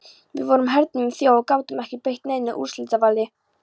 Við vorum hernumin þjóð og gátum ekki beitt neinu úrslitavaldi.